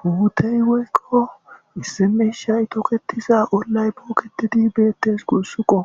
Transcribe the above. Huutey woykko issi meeshay toketiza ollay booketidi beettes gusssuko